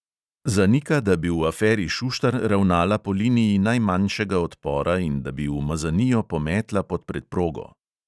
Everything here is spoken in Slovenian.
Zanika, da bi v aferi šuštar ravnala po liniji najmanjšega odpora in da bi umazanijo pometla pod preprogo.